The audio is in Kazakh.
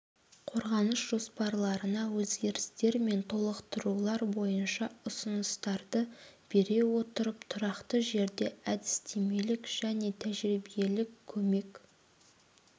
қорғаныс жоспарларына өзгерістер мен толықтырулар бойынша ұсыныстарды бере отырып тұрақты жерде әдістемелік және тәжірибелік көмек